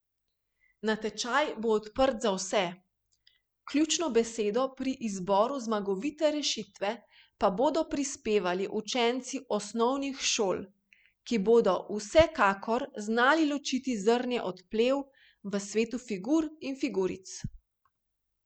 Natečaj bo odprt za vse, ključno besedo pri izboru zmagovite rešitve pa bodo prispevali učenci osnovnih šol, ki bodo vsekakor znali ločiti zrnje od plev v svetu figur in figuric.